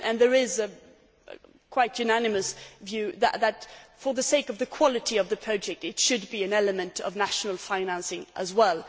There is a quite unanimous view that, for the sake of the quality of the project, there should be an element of national financing as well.